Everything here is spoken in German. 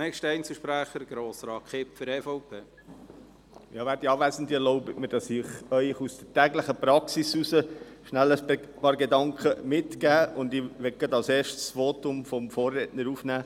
Erlauben Sie mir, dass ich Ihnen aus der täglichen Praxis heraus kurz ein paar Gedanken mitgebe, und ich nehme gerade als Erstes das Votum meines Vorredners auf.